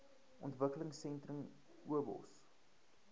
ontwikkelingsentrums obos